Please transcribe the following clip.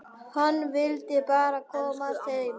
Hann vill bara komast heim.